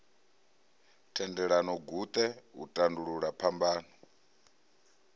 thendelano guṱe u tandulula phambano